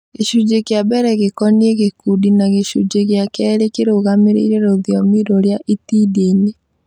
Gĩcunjĩ kĩa mbere gĩkoniĩ gĩkundi na gĩcunjĩ gĩa kerĩ kĩrũgamĩrĩire rũthiomi rũrĩa itindiĩ nĩ